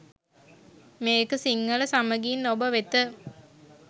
මේක සිංහල සමගින් ඔබ වෙත